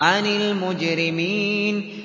عَنِ الْمُجْرِمِينَ